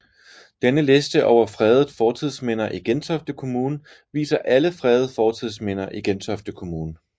Denne liste over fredede fortidsminder i Gentofte Kommune viser alle fredede fortidsminder i Gentofte Kommune